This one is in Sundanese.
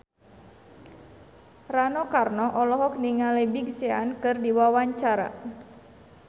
Rano Karno olohok ningali Big Sean keur diwawancara